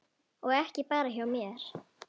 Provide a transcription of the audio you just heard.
Og ekki bara hjá mér.